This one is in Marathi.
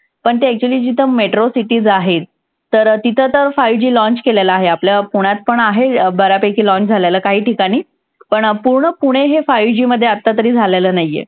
पण ते actually जिथं metro cities आहेत तर तिथं तर five G launch केलेलं आहे. आपल्या पुण्यातपण आहे बऱ्यापैकी launch झालेलं. काहीठिकाणी पण पूर्ण पुणे हे five G मध्ये आत्ता तरी झालेलं नाही आहे.